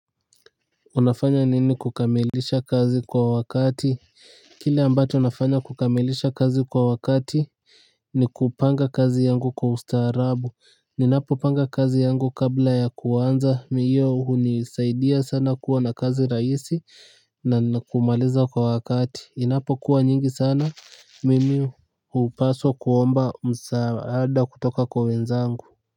Unafanya nini kukamilisha kazi kwa wakati? Kile ambacho nafanya kukamilisha kazi kwa wakati ni kupanga kazi yangu kwa ustaarabu. Ninapopanga kazi yangu kabla ya kuanza, hiyo hunisaidia sana kuwa na kazi rahisi. Na kumaliza kwa wakati. Inapokuwa nyingi sana mimi hupaswa kuomba msaada kutoka kwa wenzangu.